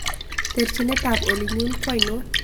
Terchinetap olitnyun kwoinon